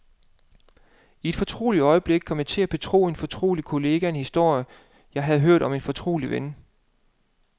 I et fortroligt øjeblik kom jeg til at betro en fortrolig kollega en historie, jeg havde hørt om en fortrolig ven.